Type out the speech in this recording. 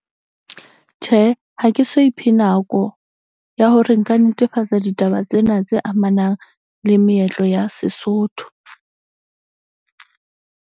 Tjhe, ha ke so iphe nako ya hore nka netefatsa ditaba tsena tse amanang le meetlo ya Sesotho .